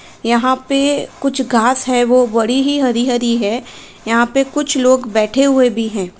यहाँ पे कुछ घास है वो बड़ी ही हरी-हरी है। यहाँ पे कुछ लोग बैठे हुए भी हैं।